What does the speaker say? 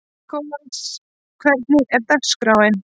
Nikolas, hvernig er dagskráin?